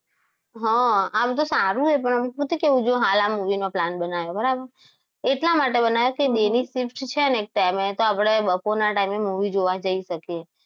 હા આમ તો સારું છે પણ એમ કેવું કે જો હાલ આ movie નો plane બનાવે બરાબર એટલા માટે બનાયો કે day shift છે ને એક time એ તો આપણે time એ movie જોવા જઈ શકિયે.